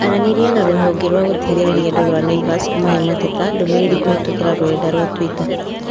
Aranĩria na rũhonge rwa gũteithĩrĩria andũ rwa Naivas ũmahe mateta ndũmĩrĩri kũhĩtũkĩra rũrenda rũa tũita